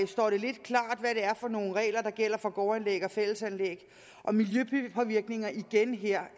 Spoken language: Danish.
står det lidt klart hvad det er for nogle regler der gælder for gårdanlæg og fællesanlæg og miljøpåvirkningen er igen her